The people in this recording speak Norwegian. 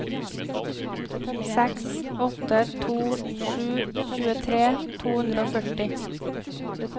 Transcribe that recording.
seks åtte to sju tjuetre to hundre og førti